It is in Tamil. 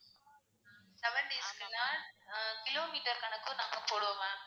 seven days க்குன்னா ஆஹ் கிலோமீட்டர் கணக்கும் நம்ப போடுவோம் ma'am.